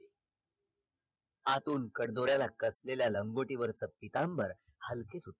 आतून कड दोद्याला कसलेल्या लंगोटीवचर पितांबर खालती गेल